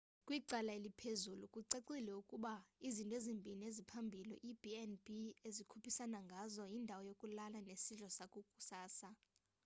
kwicala eliphezulu kucacile ukuba izinto ezimbini eziphambili iib&b ezikhuphisana ngazo: yindawo yokulala nesidlo sakusasa